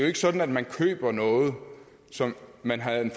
ikke sådan at man køber noget som man havde en